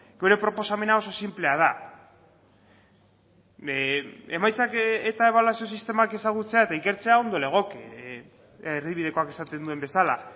gure proposamena oso sinplea da emaitzak eta ebaluazio sistemak ezagutzea eta ikertzea ondo legoke erdibidekoak esaten duen bezala